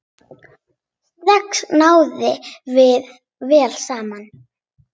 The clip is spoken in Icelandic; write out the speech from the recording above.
Strax náðum við vel saman.